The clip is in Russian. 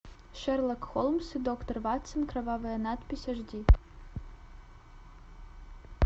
шерлок холмс и доктор ватсон кровавая надпись аш ди